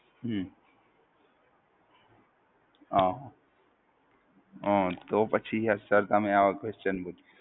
હું હાં હં તો પછી એ Sir તમે આવા Question પૂછો છો.